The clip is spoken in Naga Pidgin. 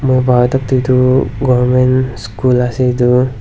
moi bhaba tok tu edu government school ase edu.